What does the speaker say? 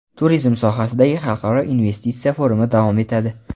Turizm sohasidagi xalqaro investitsiya forumi davom etadi.